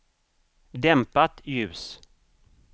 dämpat ljus